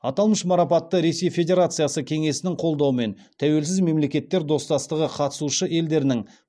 аталмыш марапатты ресей федерациясы кеңесінің қолдауымен тәуелсіз мемлекеттер достастығы қатысушы елдерінің